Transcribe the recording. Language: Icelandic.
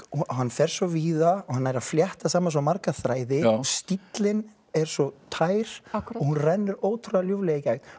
hann fer svo víða og nær að flétta saman svo marga þræði stíllinn er svo tær og hún rennur ótrúlega ljúflega í gegn